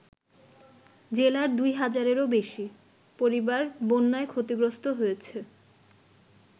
জেলার দুই হাজারেরও বেশি পরিবার বন্যায় ক্ষতিগ্রস্ত হয়েছে।